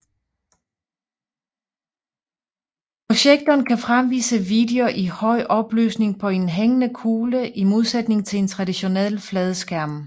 Projektoren kan fremvise video i høj opløsning på en hængende kugle i modsætning til en traditionel flad skærm